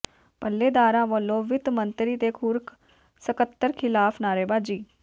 ਪੱਲੇਦਾਰਾਂ ਵਲੋਂ ਵਿੱਤ ਮੰਤਰੀ ਤੇ ਖ਼ੁਰਾਕ ਸਕੱਤਰ ਿਖ਼ਲਾਫ਼ ਨਾਅਰੇਬਾਜ਼ੀ